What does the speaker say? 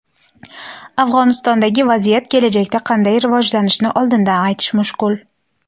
Afg‘onistondagi vaziyat kelajakda qanday rivojlanishini oldindan aytish mushkul.